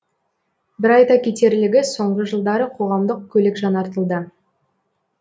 бір айта кетерлігі соңғы жылдары қоғамдық көлік жаңартылды